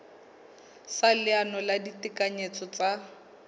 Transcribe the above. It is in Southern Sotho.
sa leano la ditekanyetso tsa